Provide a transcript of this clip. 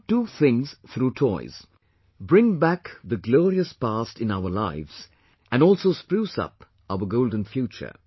We can do two things through toys bring back the glorious past in our lives and also spruce up our golden future